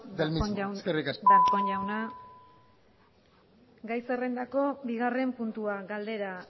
eskerrik asko darpón jauna gai zerrendako bigarren puntua galdera